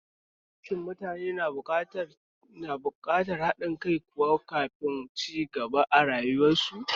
Shin mutane na buƙatar haɗin kai kuwa kafin su cibaga arayuwar su?